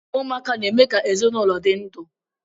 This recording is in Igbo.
Ụmụaka na-eme ka ụlọ dị ndụ